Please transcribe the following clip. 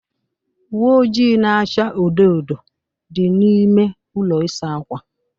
Uwe ojii na-acha odo odo dị n'ime ụlọ ịsa ákwà.